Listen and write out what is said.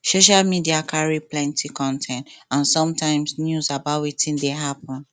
social media carry plenty con ten t and some times news about wetin dey happen